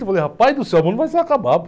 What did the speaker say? Eu falei, rapaz do céu, o mundo vai se acabar.